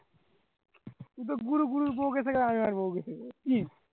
তুইতো গুরু গুরুর বউকে কি